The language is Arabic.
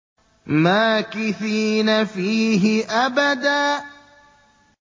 مَّاكِثِينَ فِيهِ أَبَدًا